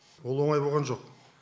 ол оңай болған жоқ